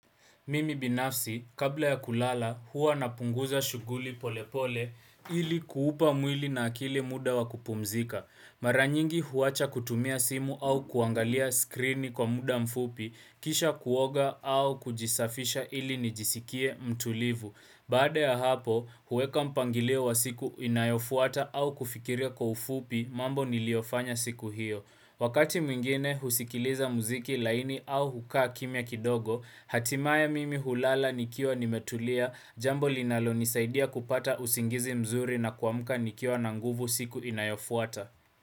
Mimi binafsi, kabla ya kulala, huwa napunguza shuguli polepole ili kuupa mwili na akili muda wa kupumzika. Maranyingi huwacha kutumia simu au kuangalia skrini kwa muda mfupi, kisha kuoga au kujisafisha ili nijisikie mtulivu. Baada ya hapo, huweka mpangilio wa siku inayofuata au kufikiria kwa ufupi mambo niliofanya siku hiyo. Wakati mwingine husikiliza muziki laini au hukaa kimya kidogo, hatimaye mimi hulala nikiwa nimetulia, jambo linalo nisaidia kupata usingizi mzuri na kuamuka nikiwa na nguvu siku inayofuata.